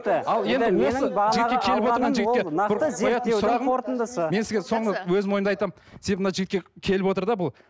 мен сізге соңғы өзімнің ойымды айтам себебі мына жігітке келіп отыр да бұл